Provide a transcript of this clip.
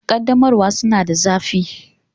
Ƙaddamarwa suna da zafi